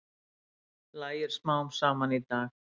Lægir smám saman í dag